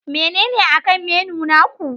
Menene akan menu naku?